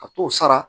Ka t'o sara